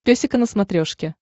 песика на смотрешке